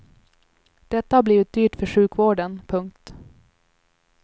Detta har blivit dyrt för sjukvården. punkt